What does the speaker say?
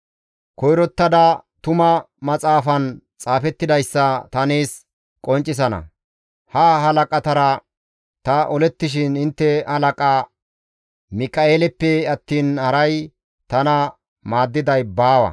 Koyrottada tuma maxaafan xaafettidayssa ta nees qonccisana; ha halaqatara ta olettishin intte halaqa Mika7eeleppe attiin haray tana maaddiday baawa.